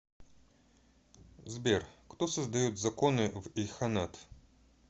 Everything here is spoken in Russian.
сбер кто создает законы в ильханат